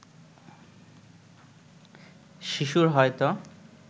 শিশুর হয়তো